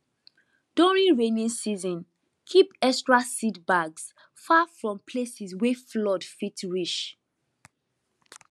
during rainy season keep extra seed bags far from places wey flood fit reach